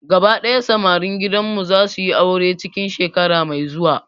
Gaba daya samarin gidan mu zasu yi aure cikin shekara mai zuwa